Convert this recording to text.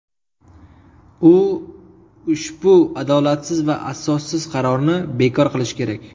U ushbu adolatsiz va asossiz qarorni bekor qilishi kerak.